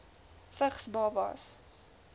vigs babas